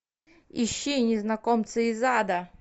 ищи незнакомцы из ада